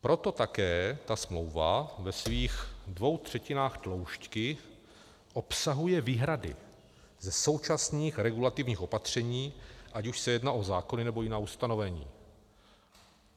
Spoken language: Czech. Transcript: Proto také ta smlouva ve svých dvou třetinách tloušťky obsahuje výhrady ze současných regulativních opatření, ať už se jedná o zákony, nebo jiná ustanovení.